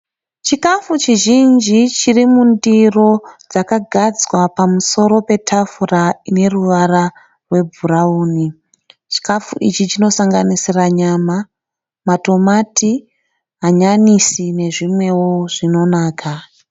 Chikafu chizhinji chiri mundiro dzakagadzwa pamusoro petafura ine ruvara rwebhurawuni. Chikafu ichi chinosanganisira nyama, matomati, hanyanisi nezvimwewo zvinonaka.